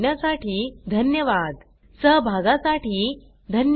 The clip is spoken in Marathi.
या ट्यूटोरियल चे भाषांतर कविता साळवे यानी केले असून मी रंजना भांबळे आपला निरोप घेते